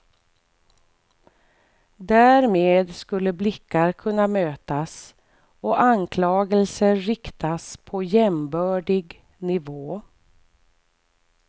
Därmed skulle blickar kunna mötas och anklagelser riktas på jämbördig nivå.